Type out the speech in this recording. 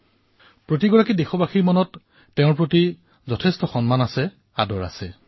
আমি সকলো ভাৰতবাসীৰ হৃদয়ত তেওঁৰ প্ৰতি অশেষ সন্মান আছে প্ৰীতিভাৱ আছে